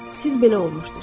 Siz belə olmuşdunuz.